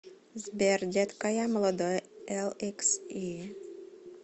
сбер детка я молодой эликси